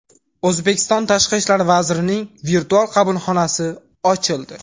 O‘zbekiston Tashqi ishlar vazirining virtual qabulxonasi ochildi.